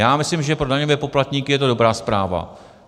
Já myslím, že pro daňové poplatníky je to dobrá zpráva.